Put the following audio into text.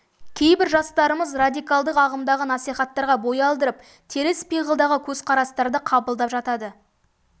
кейбір жастарымыз радикалдық ағымдағы насихаттарға бой алдырып теріс пиғылдағы көзқарастарды қабылдап жатады